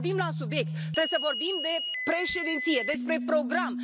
Trebuie să vorbim la subiect, trebuie să vorbim de Președinție, despre program.